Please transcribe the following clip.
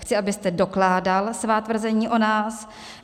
Chci, abyste dokládal svá tvrzení o nás.